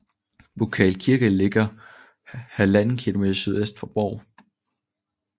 Burkal Kirke ligger 1½ km sydvest for Bov